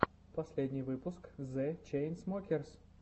последний выпуск зе чейнсмокерс